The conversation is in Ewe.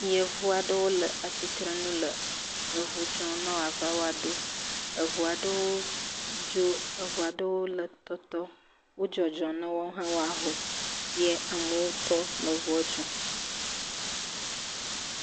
Yevu aɖewo le atsirenu le eŋu dzɔm ne wòava woaɖo. Eŋu aɖewo dzo, eŋu aɖewo le tɔtɔm, wodzɔdzɔm ne woawo hã ne woaho. Yɛ amewo tɔ le ŋua dzɔm.